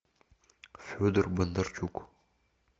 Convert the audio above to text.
федор бондарчук